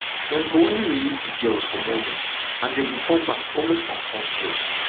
dem go only release di girls for morning and dem go come back almost unconcious